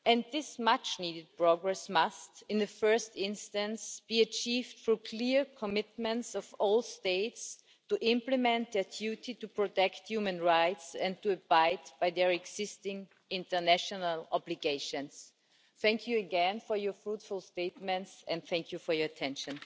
This much-needed progress must, in the first instance, be achieved through clear commitments from all states to implement a duty to protect human rights and to abide by their existing international obligations. Thank you again for your fruitful statements and for your attention.